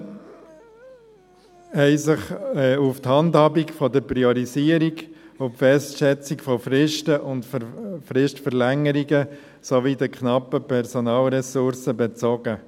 Die Antworten bezogen sich auf die Handhabung der Priorisierung und die Festsetzung von Fristen und von Fristverlängerungen sowie auf die knappen Personalressourcen bezogen.